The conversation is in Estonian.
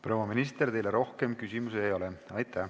Proua minister, teile rohkem küsimusi ei ole.